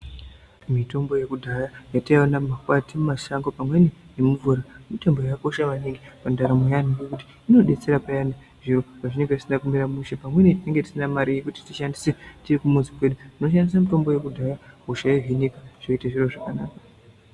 Mitombo yekudhaya yataiwana mumakwati mumashango pamweni nemumvura, mitombo yakakosha maningi pandaramo yeantu ngekuti inobetsera peyani zviro zvinenge zvisina kumira mushe. Pamweni tinenge tisina mare yekuti tishandise tiri kumuzi kwedu tinoshandise mitombo yekudhaya zvoite zviro zvakanaka.